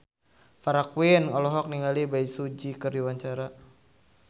Farah Quinn olohok ningali Bae Su Ji keur diwawancara